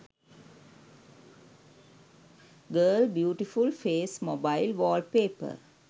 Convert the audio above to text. girl beautiful face mobile wallpaper